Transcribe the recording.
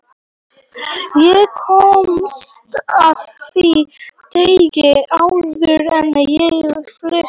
Ég komst að því daginn áður en ég flutti.